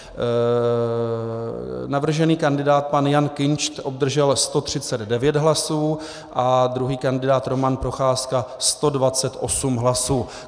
Navržený kandidát pan Jan Kinšt obdržel 139 hlasů a druhý kandidát Roman Procházka 128 hlasů.